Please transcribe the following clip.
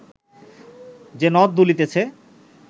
যে নথ দুলিতেছে